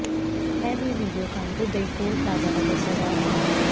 ਇਹ ਵੀਡੀਓ ਕਾਨਪੁਰ ਦੇ ਇੱਕ ਟੋਲ ਪਲਾਜ਼ਾ ਦਾ ਦੱਸਿਆ ਜਾ ਰਿਹਾ ਹੈ